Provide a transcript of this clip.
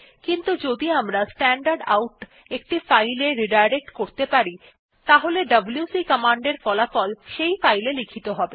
কিন্তু যদি আমরা স্ট্যান্ডারডাউট একটি ফাইল এ রিডাইরেক্ট করতে পারি তাহলে ডব্লিউসি কমান্ডের ফলাফল সেই ফাইল এ লিখিত হবে